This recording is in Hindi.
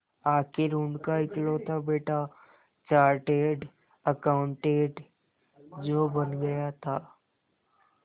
आखिर उनका इकलौता बेटा चार्टेड अकाउंटेंट जो बन गया था